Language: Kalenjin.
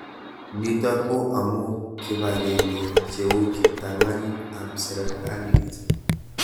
Nitok ko amuu kipag'eng'e cheu kiptanganyit ab serikalit